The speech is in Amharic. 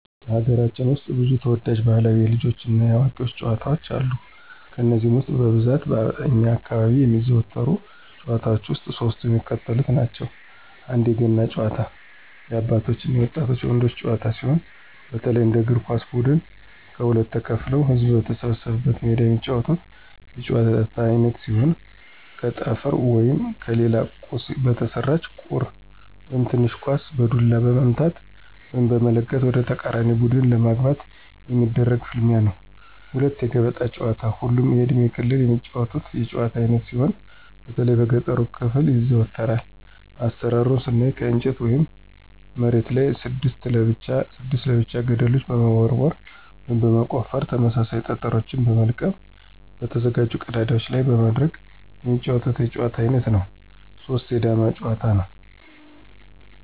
በሀገራችን ውስጥ ብዙ ተወዳጅ ባህላዊ የልጆች እና የአዋቂዎች ጨዋታዎች አሉ። ከነዚህም ውስጥ በብዛት በእኛ አካባቢ የሚዘወተሩ ጭዋታዎች ውስጥ ሶስቱ የሚከተሉትን ናቸው፦ 1=የገና ጨዋታ- የአባቶች እና የወጣት ወንዶች ጨዋታ ሲሆን፣ በተለይ እንደ እግር ኳስ ብድን ከሁለት ተከፋፍለው ህዝብ በተሰበሰበበት ሜዳ የሚጫወቱት የጨዋታ አይነት ሲሆን ከጠፍር ወይም ከሌላ ቁስ በተሰራች ቁር (ትንሽ ኳስ) በዱላ በመምታት(በመለጋት) ወደተቃራኒ ቡድን ለማግባት የሚደረግ ፍልሚያ ነው። 2=የገበጣ ጨዋታ ሁሉም የእድሜ ክልል የሚጫወቱት የጭዋታ አይነት ሲሆን በተለይ በገጠሩ ክፍል ይዘወተራል። አሰራሩን ስናይ ከእንጨት ወይም መሬቱ ላይ 6 ለብቻ 6 ለብቻ ገደልችን በመቦርቦር (በመቆፈር) ተመሳሳይ ጠጠሮችን በመልቀም በተዘጋጁ ቀዳዳዎች ላይ በማድረግ የሚጫወቱት የጨዋታ አይነት ነው። 3=የዳማ ጭዋታ; ነው።